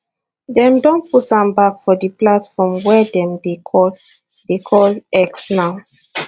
dem don put am back for di platform wey dem dey call dey call x now